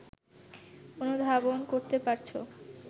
অনুধাবন করতে পারছো